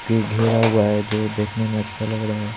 के घेरा हुआ है जो देखने में अच्छा लग रहा है।